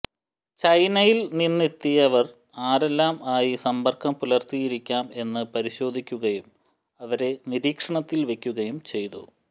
ചൈനയിൽ നിന്നെത്തിയവർ ആരെല്ലാംആയി സമ്പർക്കം പുലർത്തിയിരിക്കാം എന്ന് പരിശോധിക്കുകയും അവരെ നിരീക്ഷണത്തിൽ വെക്കുകയും ചെയ്തു